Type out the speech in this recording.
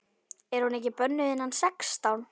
Er hún ekki bönnuð innan sextán?